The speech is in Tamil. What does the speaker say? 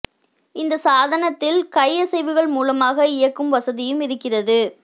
இந்த சாதனத்தில் கை அசைவுகள் மூலமாக இயக்கும் வசதியும் இருக்கிறது